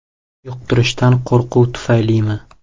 Yuqtirishdan qo‘rquv tufaylimi?